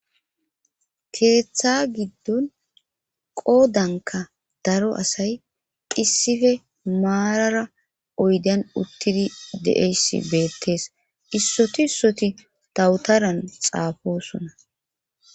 Keeththa giddon qoodanka daro asay qissife maarara oydan uttidi de7eyssi beettees issoti issoti tawutaran xaafosona